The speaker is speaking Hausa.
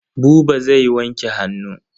Buba zai wanke hannu.